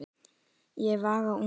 Ég vagga ungum sveini.